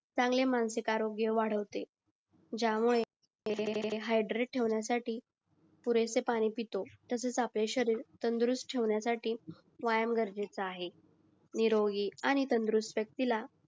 चांगले मानसिक आरोग्य वाढवते जामुळे हयद्रित मुलांसाठी पुरेसे पाणी पितो तसेच आपले शहरीर तंदुरुस्त ठेवण्यासाठी व्यायाम गरजेचं आहे निरोगी आणि तंदुरुस्त तिला